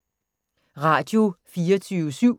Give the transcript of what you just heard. Radio24syv